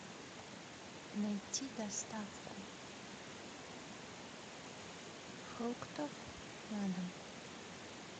найти доставку фруктов на дом